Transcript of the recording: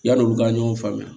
Yan'olu ka ɲɔgɔn faamuya